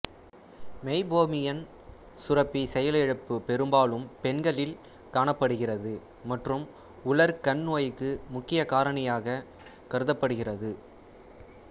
meibomian சுரப்பி செயலிழப்பு பெரும்பாலும் பெண்களில் காணப்படுகிறது மற்றும் உலர் கண் நோய்க்கு முக்கிய காரணியாக கருதப்படுகிறது